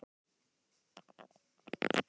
Hreyfingar mínar loftkenndar.